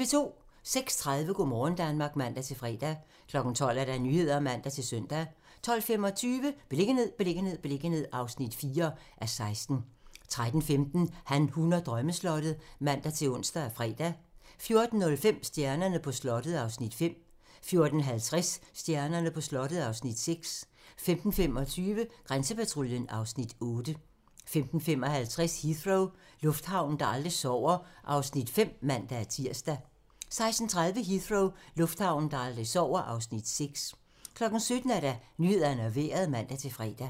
06:30: Go' morgen Danmark (man-fre) 12:00: Nyhederne (man-søn) 12:25: Beliggenhed, beliggenhed, beliggenhed (4:16) 13:15: Han, hun og drømmeslottet (man-ons og fre) 14:05: Stjernerne på slottet (Afs. 5) 14:50: Stjernerne på slottet (Afs. 6) 15:25: Grænsepatruljen (Afs. 8) 15:55: Heathrow - lufthavnen, der aldrig sover (Afs. 5)(man-tir) 16:30: Heathrow - lufthavnen, der aldrig sover (Afs. 6) 17:00: Nyhederne og Vejret (man-fre)